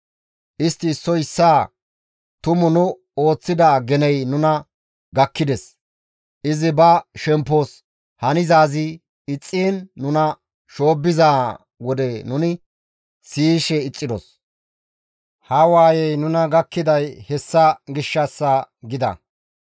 Istti issoy issaa, «Tumu nu ooththida geney nuna gakkides. Izi ba shemppos hanizaazi ixxiin nuna shoobbiza wode nuni siyishe ixxidos; ha waayey nuna gakkiday hessa gishshassa» gida.